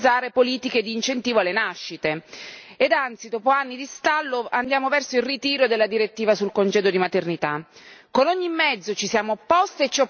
Ma a quanto pare non riusciamo a concretizzare politiche di incentivo alle nascite e anzi, dopo anni di stallo, andiamo verso il ritiro della direttiva sul congedo di maternità.